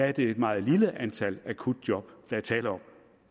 er det et meget lille antal akutjob der er tale om